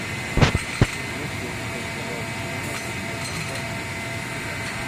есть ли у тебя сериал покемон восьмой сезон часть четыре